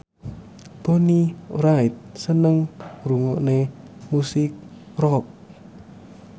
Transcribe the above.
Bonnie Wright seneng ngrungokne musik rock